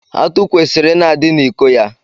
Atụ kwesịrị ị na-adị n'iko ya.